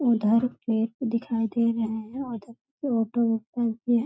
उधर पेड़ दिखाई दे रहे हैं उधर ऑटो